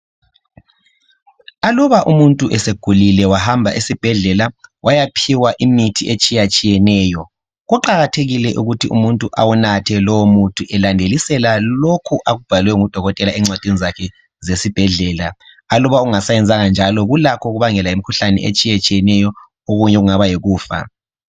Aluba umuntu esegulile wahamba esibhedlela wayaphiwa imithi etshiya tshiyeneyo kuqakathekile ukuthi umuntu, awunathe lowo muthi elandeliselwa lokho okubhalwe ngudokotela encwadini zakhe zesibhedlela, aluba engasa yenzanga njalo kulakho ukubangela imikhuhlane etshiyeneyo okunye kube yikufa.